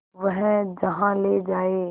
वह जहाँ ले जाए